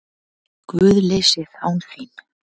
GUÐLEYSIÐ ÁN ÞÍN